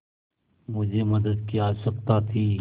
मुझे मदद की आवश्यकता थी